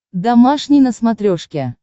домашний на смотрешке